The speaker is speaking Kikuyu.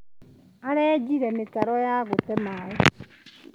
Arenjire mĩtaro ya gũte maĩ.